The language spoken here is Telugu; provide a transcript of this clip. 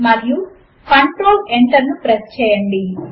మరియు కంట్రోల్ Enter ను ప్రెస్ చేయండి